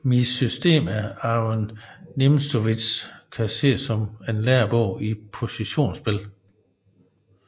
Mit System af Aron Nimzowitsch kan ses som en lærebog i positionsspil